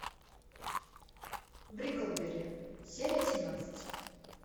бриклберри серия семнадцать